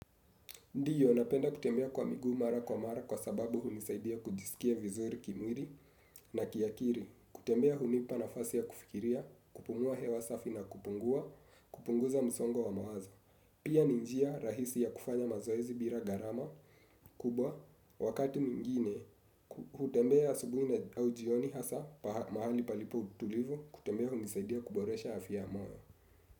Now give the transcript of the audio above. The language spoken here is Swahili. Ndiyo, napenda kutembea kwa miguu mara kwa mara kwa sababu hunisaidia kujisikia vizuri kimwili na kiakili. Kutembea hunipa nafasi ya kufikiria, kupumua hewa safi na kupungua, kupunguza msongwa wa mawaza. Pia ni njia rahisi ya kufanya mazoezi bila garama kubwa. Wakati mwingine, hutembea asubui au jioni hasa mahali palipo utulivu, kutembea hunisaidia kuboresha afya moyo.